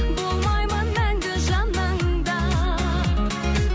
болмаймын мәңгі жаныңда